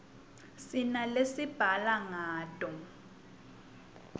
sinalesibhala ngato